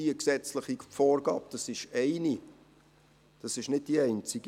Dies ist gesetzliche Vorgabe, es ist nicht die einzige.